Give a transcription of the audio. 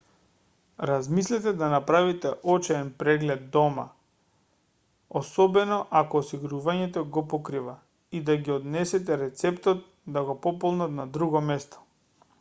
размислете да направите очен преглед дома особено ако осигурувањето го покрива и да го однесете рецептот да го пополнат на друго место